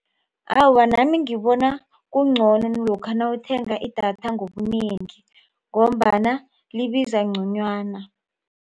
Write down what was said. Awa, nami ngibona kungcono lokha nawuthenga idatha ngobunengi ngombana libiza ngconywana.